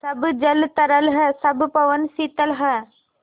सब जल तरल है सब पवन शीतल है